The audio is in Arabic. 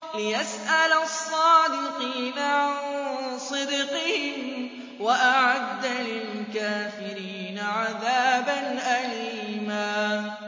لِّيَسْأَلَ الصَّادِقِينَ عَن صِدْقِهِمْ ۚ وَأَعَدَّ لِلْكَافِرِينَ عَذَابًا أَلِيمًا